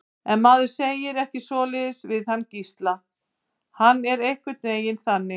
En maður segir ekki svoleiðis við hann Gísla, hann er einhvern veginn þannig.